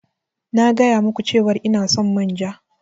Na gaya ma ku cewar ina son manja.